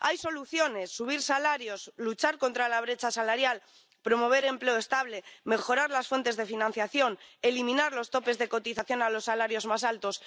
Hay soluciones subir salarios, luchar contra la brecha salarial, promover empleo estable, mejorar las fuentes de financiación, eliminar los topes de cotización a los salarios más altos.